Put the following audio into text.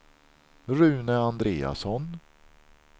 Rune Andreasson